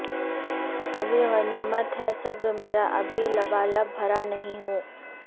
ابھی غنیمت ہے صبر میرا ابھی لبالب بھرا نہیں ہوں